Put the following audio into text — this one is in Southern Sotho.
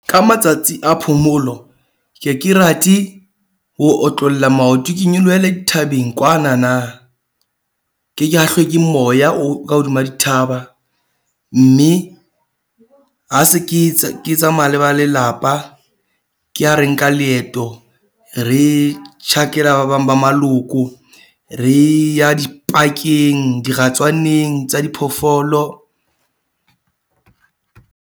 Ka matsatsi a phomolo, ke ke rate ho otlolla maoto, ke nyolohele dithabeng kwana na. Ke ke hahlwe ke moya o ka hodima dithaba. Mme ha se ke tsamaya le ba lelapa, ke ha re nka leeto re tjhakela ba bang ba maloko. Re ya di-park-eng diratswaneng tsa di phoofolo.